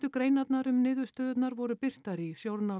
greinarnar um niðurstöðurnar voru birtar í